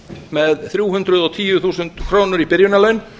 með þrjú hundruð og tíu þúsund krónur í byrjunarlaun